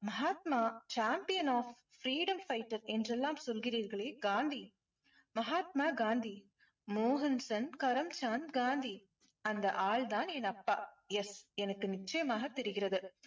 Mahatma champion of freedom fighter என்றெல்லாம் சொல்கிறீர்களே காந்தி. மகாத்மா காந்தி. மோகன்தாஸ் கரம்சான் காந்தி. அந்த ஆள் தான் என் அப்பா. yes எனக்கு நிச்சயமாக தெரிகிறது.